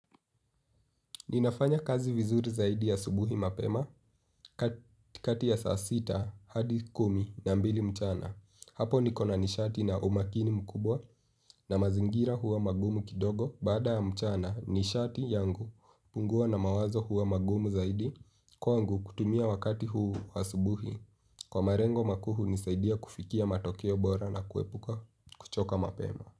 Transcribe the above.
Ninafanya kazi vizuri zaidi asubuhi mapema kati ya saa sita hadi kumi na mbili mchana. Hapo niko na nishati na umakini mkubwa na mazingira huwa magumu kidogo bada ya mchana nishati yangu pungua na mawazo huwa magumu zaidi kwangu kutumia wakati huu wa subuhi. Kwa marengo makuu nisaidia kufikia matokeo bora na kuepuka kuchoka mapema.